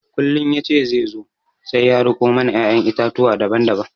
Kullum ya ce zai zo sai ya riko mana ƴaƴan itatuwa daban daban